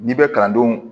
N'i bɛ kalandenw